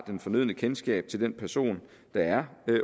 fornødne kendskab til den person der er